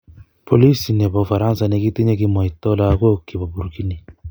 Polisi nebo Ufaransa ne kitinye kimoito lagok kibo Burkini.